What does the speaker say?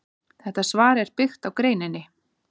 Þetta svar er byggt á greininni.